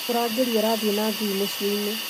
Mũrangĩri arathiĩ na ngui mũciinĩ